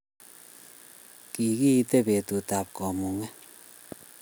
Kikiite betut ab kamunget